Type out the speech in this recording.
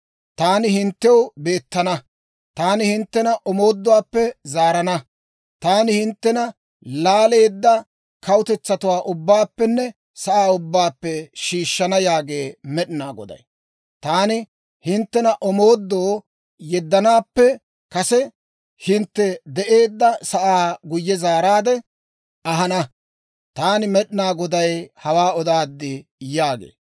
Taani hinttew beettana. Taani hinttena omooduwaappe zaarana. Taani hinttena laaleedda kawutetsatuwaa ubbaappenne sa'aa ubbaappe shiishshana yaagee Med'inaa Goday. Taani hinttena omoodoo yeddanaappe kase hintte de'eedda sa'aa guyye zaaraadde ahana. Taani Med'inaa Goday hawaa odaad› yaagee.»